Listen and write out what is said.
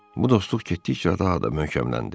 Bu dostluq getdikcə daha da möhkəmləndi.